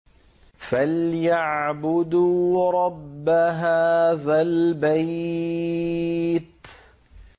فَلْيَعْبُدُوا رَبَّ هَٰذَا الْبَيْتِ